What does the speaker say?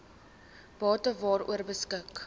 bate waaroor beskik